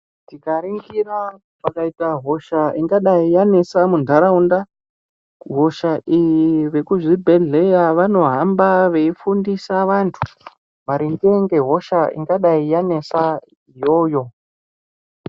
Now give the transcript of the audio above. Tikaringira pakaita hosha ingadai yanesa muntaraunda hosha iyi vekuzvibhedhleya Vanohamba veifundisa vantu maringe ngehosha ingadai yanesa iyoyo.